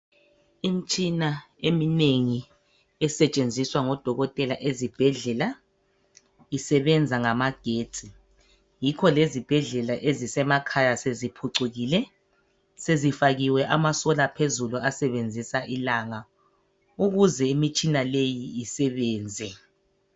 Imitshina eminengi esetshenziswa ngodokotela ezibhedlela, isebenza ngamagetsi. Yikho lezibhedlela ezisemakhaya seziphucukile .Sezifakiwe ama solar phezulu asebenzisa ilanga ukuze imitshina leyi isebenze.